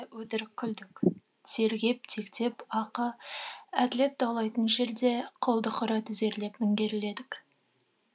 өтірік күлдік тергеп тектеп ақы әділет даулайтын жерде құлдық ұра тізерлеп міңгерледік